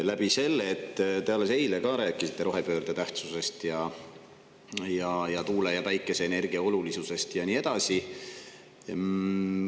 Te alles eile rääkisite siin rohepöörde tähtsusest ja tuule‑ ja päikeseenergia olulisusest ja nii edasi.